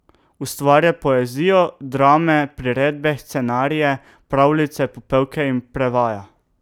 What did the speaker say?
Ustvarja poezijo, drame, priredbe, scenarije, pravljice, popevke in prevaja.